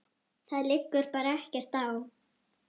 Það liggur bara ekkert á.